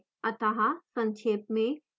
अत: संक्षेप में